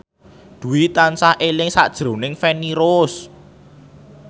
Dwi tansah eling sakjroning Feni Rose